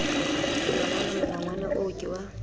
molangwana molangwana oo ke wa